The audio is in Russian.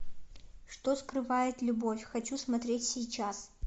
что скрывает любовь хочу смотреть сейчас